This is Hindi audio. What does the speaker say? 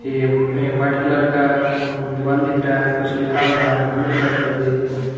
ये व्हाइट कलर का अह दीवाल दिख रहा है कुछ लिखा हुआ है ब्लू कलर का भी।